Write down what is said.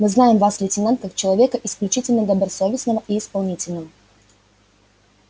мы знаем вас лейтенант как человека исключительно добросовестного и исполнительного